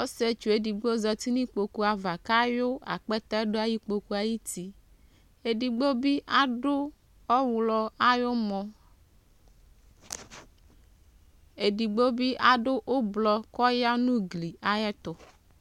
osietsu edigbo zati n'ikpoku ava kawu akpɛtɛ ɖʋ ayu ikpoku ayutieɖigbobi, aɖʋ ɔwɣlɔ ayu mɔeɖigbobi aɖʋ ublɔ ku ɔya nʋ ugli ayɛtʋ